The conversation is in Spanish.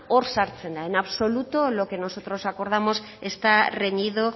hor sartzen da en absoluto lo que nosotros acordamos está reñido